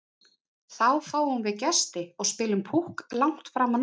Þá fáum við gesti og spilum Púkk langt fram á nótt.